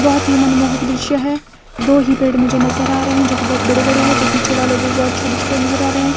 बहोत ही मनमोहक दृश्य है दो ही पेड़ मुझे नजर आ रहे हैं जो की बहोत बड़े बड़े है जो पीछे वाले वो बहोत छोटे छोटे नजर आ रहे है।